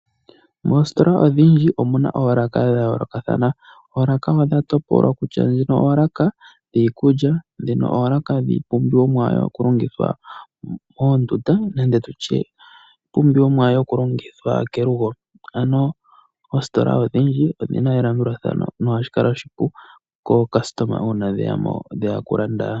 Moositola odhindji omuna oolaka dha yoolokathana. Oolaka odha topolwa kutya ndjino olaka dhiikulya, dhimwe oolaka dhiipumbiwa yokulongithwa moondunda nenge iipumbiwa yokulongithwa kelugo. Ano oositola odhindji odhina elandulathano, na ohashi kala oshipu kaalandi uuna yeya okulanda.